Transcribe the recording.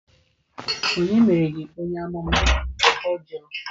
Ònye mere gi onye-amuma? Ọ jụrụ